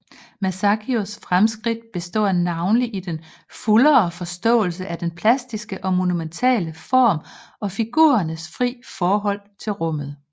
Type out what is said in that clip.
Masaccios fremskridt består navnlig i den fuldere forståelse af den plastiske og monumentale form og figurernes fri forhold til rummet